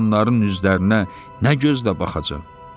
onların üzlərinə nə gözlə baxacaq?